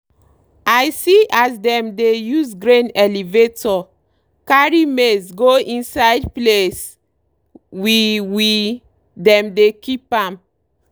i see as dem dey use grain elevator carry maize go inside place we we dem dey keep am.